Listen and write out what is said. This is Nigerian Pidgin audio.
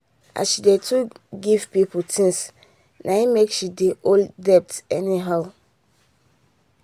as she dey too give people things na make she dey owe debt any how.